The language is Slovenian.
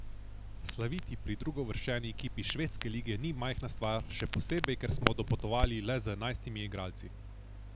Slaviti pri drugouvrščeni ekipi švedske lige ni majhna stvar, še posebej, ker smo dopotovali le z enajstimi igralci.